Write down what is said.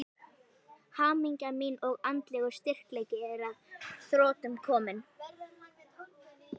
Hamingja mín og andlegur styrkleiki er að þrotum kominn.